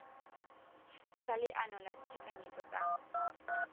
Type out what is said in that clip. sa leano la ditekanyetso tsa